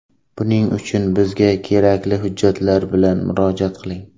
Buning uchun bizga kerakli hujjatlar bilan murojaat qiling!